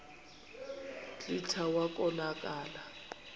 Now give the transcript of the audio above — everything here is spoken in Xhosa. kclta wa konakala